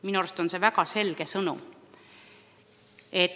Minu arust on see väga selge sõnum.